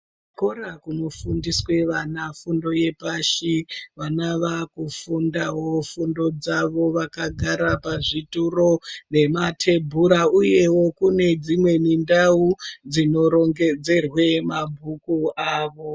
Kuzvikora kunofundiswe vana fundo yepashi , vana vakufundawo fundo dzavo vakagara pazvituro nematebhura uyewo kune dzimweni ndau dzinorongedzerwe mabhuku awo.